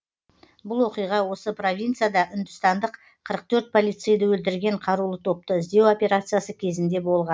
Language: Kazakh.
бұл оқиға осы провинцияда үндістандық қырық төрт полицейді өлтірген қарулы топты іздеу операциясы кезінде болған